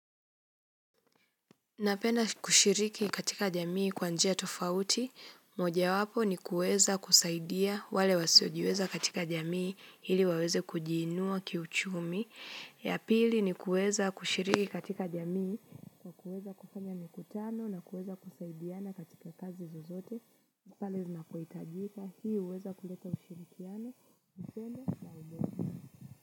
Napenda kushiriki katika jamii kwa njia tofauti, moja wapo ni kuweza kusaidia wale wasiojiweza katika jamii ili waweze kujiinua kiuchumi, ya pili ni kuweza kushiriki katika jamii, kuweza kufanya mikutano na kuweza kusaidiana katika kazi zozote, pale zinapohitajika, hii huweza kuleta ushirikiano.